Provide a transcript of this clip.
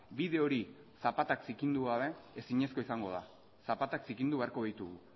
bide hori zapatak zikindu gabe ezinezkoa izango da zapatak zikindu beharko ditugu